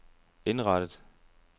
indrettet